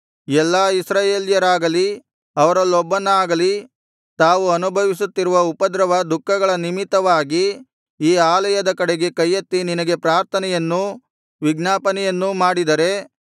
ಎಲ್ಲಾ ಇಸ್ರಾಯೇಲ್ಯರಾಗಲಿ ಅವರಲ್ಲೊಬ್ಬನಾಗಲಿ ತಾವು ಅನುಭವಿಸುತ್ತಿರುವ ಉಪದ್ರವ ದುಃಖಗಳ ನಿಮಿತ್ತವಾಗಿ ಈ ಆಲಯದ ಕಡೆಗೆ ಕೈಯೆತ್ತಿ ನಿನಗೆ ಪ್ರಾರ್ಥನೆಯನ್ನೂ ವಿಜ್ಞಾಪನೆಯನ್ನೂ ಮಾಡಿದರೆ